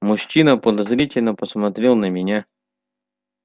мужчина подозрительно посмотрел на меня